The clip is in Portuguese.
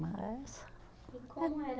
Mas. E como era